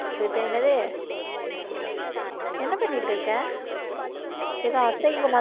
இப்ப என்னது என்ன பண்ணிட்டு இருக்க ஏதோ